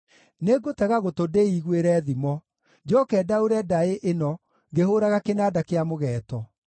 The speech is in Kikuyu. Nĩngũtega gũtũ ndĩĩiguĩre thimo; njooke ndaũre ndaĩ ĩno ngĩhũũraga kĩnanda kĩa mũgeeto: